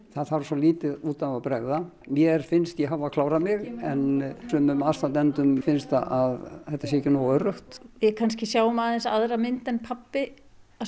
það þarf svo lítið út af að bregða mér finnst ég hafa klárað mig en sumum aðstandendum finnst að þetta sé ekki nógu öruggt við kannski sjáum aðeins aðra mynd en pabbi